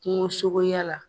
Kungosogoya la.